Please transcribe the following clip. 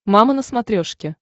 мама на смотрешке